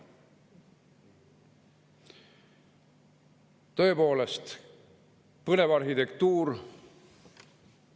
Tõepoolest, põnev arhitektuur.